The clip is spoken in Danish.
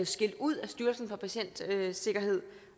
skilt ud af styrelsen for patientsikkerhed